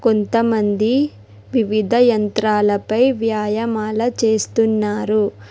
కొంతమంది వివిధ యంత్రాలపై వ్యాయమాల చేస్తున్నారు.